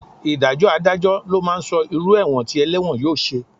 Ìdájọ́ Adájọ́ ló máa sọ irú ẹ̀wọ̀n tí ẹlẹ́wọ̀n yóò ṣe